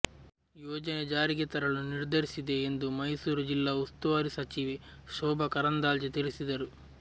ಯೋಜನೆ ಜಾರಿಗೆ ತರಲು ನಿರ್ಧರಿಸಿದೆ ಎಂದು ಮೈಸೂರು ಜಿಲ್ಲಾ ಉಸ್ತುವಾರಿ ಸಚಿವೆ ಶೋಭಾ ಕರಂದ್ಲಾಜೆ ತಿಳಿಸಿದರು